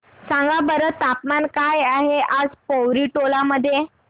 सांगा बरं तापमान काय आहे आज पोवरी टोला मध्ये